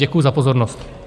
Děkuju za pozornost.